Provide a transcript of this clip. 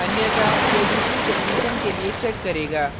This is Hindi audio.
अन्यथा यह दूसरी condition के लिए check करेगा